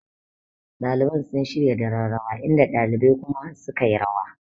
Ɗaliban sun shirya daren rawa inda ɗalibai kuma sukayi rawa